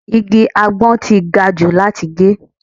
Igi àgbon ti gajù láti gé.